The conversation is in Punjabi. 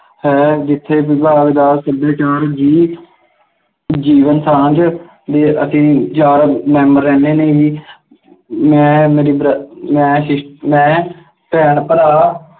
ਹੈ ਜਿੱਥੇ ਵਿਭਾਗ ਦਾ ਸੱਭਿਆਚਾਰ ਦੀ ਜੀਵਨ ਸਾਂਝ ਅਤੇ ਅਸੀਂ ਚਾਰ member ਰਹਿੰਦੇ ਨੇ ਜੀ, ਮੈਂ ਮੇਰੀ br~ ਮੈਂ Sis~ ਮੈਂ ਭੈਣ-ਭਰਾ